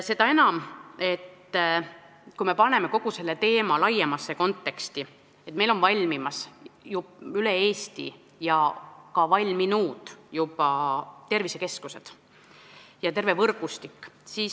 Seda enam, kui me paneme kogu selle teema laiemasse konteksti, et meil on valmimas üle Eesti ja on ka juba valminud tervisekeskused ja terve nende võrgustik.